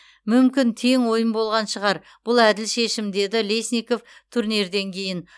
мүмкін тең ойын болған шығар бұл әділ шешім деді лесников турнирден кейін